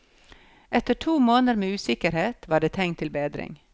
Etter to måneder med usikkerhet, var det tegn til bedring.